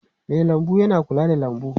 Mai lambu yana kula da lambu.